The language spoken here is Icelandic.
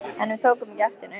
En við tókum ekki eftir neinu.